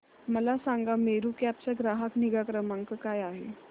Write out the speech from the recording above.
मला सांगा मेरू कॅब चा ग्राहक निगा क्रमांक काय आहे